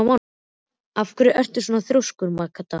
Af hverju ertu svona þrjóskur, Magda?